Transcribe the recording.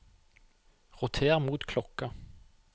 roter mot klokka